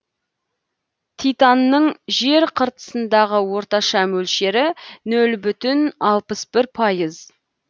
титанның жер қыртысындағы орташа мөлшері нөл бүтін алпыс бір пайыз